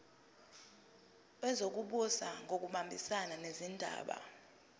wezokubusa ngokubambisana nezindaba